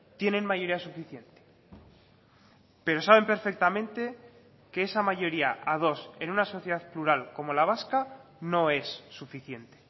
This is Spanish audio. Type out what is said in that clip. tienen mayoría suficiente pero saben perfectamente que esa mayoría a dos en una sociedad plural como la vasca no es suficiente